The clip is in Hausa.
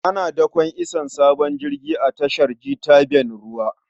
Ana dakon isowar sabon jirgi a tashar jitaven ruwa.